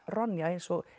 Ronja eins og